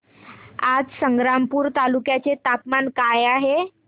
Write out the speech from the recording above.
आज संग्रामपूर तालुक्या चे तापमान काय आहे